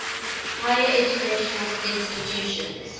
higher educational institutions